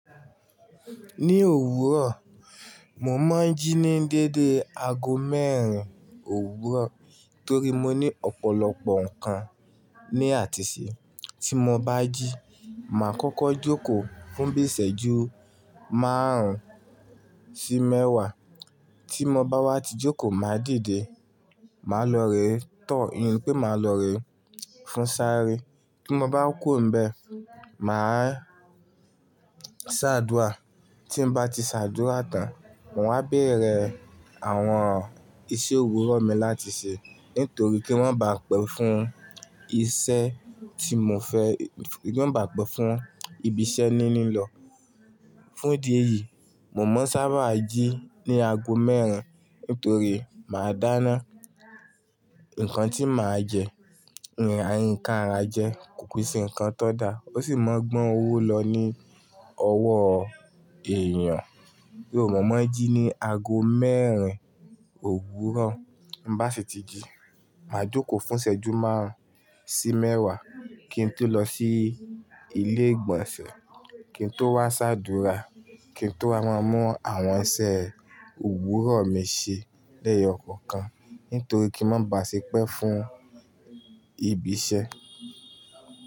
Ní òwúrọ̀, mo máa ń jí ní dédé aago mẹ́rin òwúrọ̀ torí mo ní ọ̀pọ̀lọpọ̀ nǹkan ní àtiṣe. Tí mo bá jí, màá kọ́kọ́ jókòó fún bí isẹ́ju márùn-ún sí mẹ́wàá. Tí mo bá wá ti jókòó, màá dìde, màá lọ re, tọ̀ iyùn ni pé màá lọ re fún sáré. Tí mo bá ku o ńbẹ, màá sàdúà. Tí n bá ti ṣàdúrà tán, mo wá bẹ̀rẹ̀ àwọn iṣẹ́ òwúrọ̀ mi láti ṣe nítorí kí wọ́n ba à pẹ́ fún iṣẹ́ tí mo fẹ́, kí mọ ba à pẹ́ fún ìbí iṣẹ́ níní lọ. Fún ìdí èyí, mo máa ń sábà jí ní aago mẹ́rin nítorí màá dáná nǹkan tí màá jẹ, ǹkan ara jẹ kò kí n se ǹkan tó da. Ó sì máa gbọ́n owó lọ ní ọwọ́ èèyàn. Bí mo mábn jí ní aago mẹ́rin òwúrọ̀, mbá ṣi ti jí, màá jókòó fún ṣẹ́jú márùn-ún sí mẹ́wàá kí n tó lọ sí ilé ìgbọ̀nsẹ̀, kí n tó wá ṣàdúrà, kí n tó wá máa mú àwọn isẹ́ òwúrọ̀ mi ṣe lẹ́yọ̀ kọọkan nítorí kí ń má ba à ṣépẹ́ fún ìbí iṣẹ́.